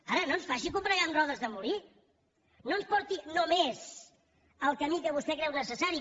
ara no ens faci combregar amb rodes de molí no ens porti només al camí que vostè creu necessari